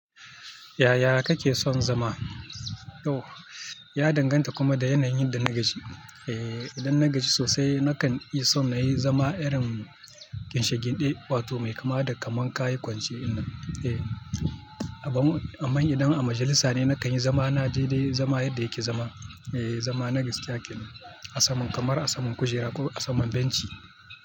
Yaya kake son zama? Oh, ya danganta kuma da yanayin yadda na gashi. Eh, idan na gaji sosai nakan iya so na yi zama irin ginshagin ɗin, wato mai kama da kaman kayi kwance. Eh, amma idan a majalisa ne nakan yi zama na je dai zama yadda yake zama. Eh, zama na vista, kin asamin kamar asamin kujera ko asamin benci.